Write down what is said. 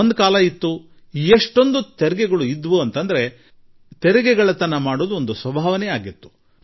ಹಿಂದೆ ಕಾಲವೊಂದಿತ್ತು ಆಗ ತೆರಿಗೆಗಳು ಎಷ್ಟು ಹೆಚ್ಚಾಗಿದ್ದವು ಎಂದರೆ ತೆರಿಗೆಗಳ್ಳತನ ಸ್ವಭಾವವಾಗಿಬಿಟ್ಟಿತ್ತು